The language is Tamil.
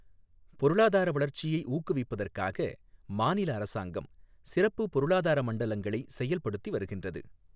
பொருளாதார வளர்ச்சியை ஊக்குவிப்பதற்காக மாநில அரசாங்கம் சிறப்பு பொருளாதார மண்டலங்களை செயல்படுத்தி வருகின்றது.